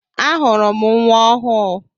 Ahụrụ m nnwa ọhụụ.